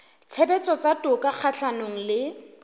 tshebetso tsa toka kgahlanong le